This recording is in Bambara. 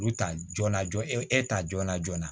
Olu ta joona joona e ta joona joona